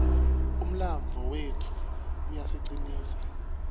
umlandvo wetfu uyasicinisa